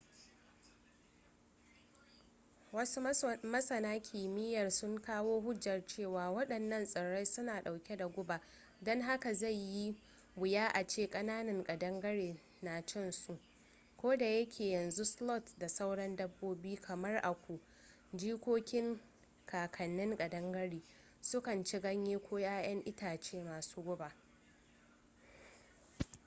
wasu masana kimiyyar sun kawo hujjar cewa waɗannan tsirrai suna ɗauke da guba don haka zai yi wuya a ce kakannin ƙadangare na cin su koda yake yanzu sloth da sauran dabbobi kamar aku jikokin kakannin ƙadangare su kan ci ganyaye ko yayan itace masu guba